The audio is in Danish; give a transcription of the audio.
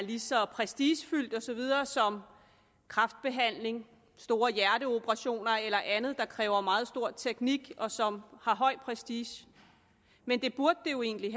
lige så prestigefyldt og så videre som kræftbehandling store hjerteoperationer eller andet der kræver meget stor teknik og som har høj prestige men det burde det jo egentlig